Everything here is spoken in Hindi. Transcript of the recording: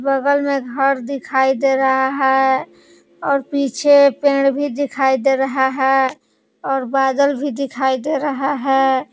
बगल में घर दिखाई दे रहा है और पीछे पेड़ भी दिखाई दे रहा है और बादल भी दिखाई दे रहा है।